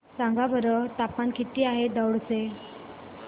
सांगा बरं तापमान किती आहे दौंड चे